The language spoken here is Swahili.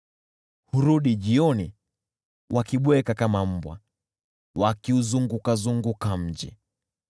Hurudi jioni, wakibweka kama mbwa, wakiuzurura mji.